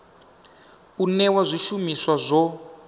u newa zwi shumiswa zwo